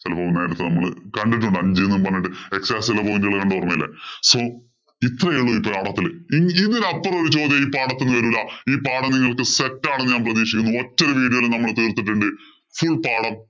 ചെലപ്പോ നമ്മള് കണ്ടിട്ടുണ്ട് അഞ്ചെ എന്ന് പറഞ്ഞിട്ട് x axis ഇലെ point ഉകള്‍ കണ്ടതോര്‍മ്മയില്ലേ. So ഇപ്പൊ ഇതില് ഒരു പാഠത്തില് ഇതിനപ്പുറം ഒരു ചോദ്യം ഈ പാഠത്തീന്ന് വരൂല. ഈ പാഠം നിങ്ങക്ക് set ആണെന്ന് ഞാന്‍ പ്രതീക്ഷിക്കുന്നു. ഒറ്റ ഒരു video യില് നമ്മള് തീര്‍ത്തിട്ടുണ്ട് full പാഠം.